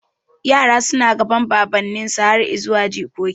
Yara suna gadan baban ninsu har zuwa jikoki